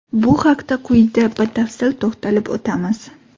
Bu haqda quyida batafsil to‘xtalib o‘tamiz.